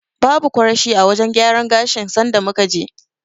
Babu kwarashi a wajen gyaran gashin sanda muka je.